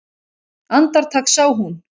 Andartak sá hún